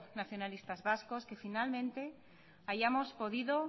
nacionalistas vascos que finalmente hayamos podido